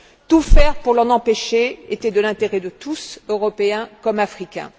Tout faire pour l'en empêcher était de l'intérêt de tous, Européen comme Africains.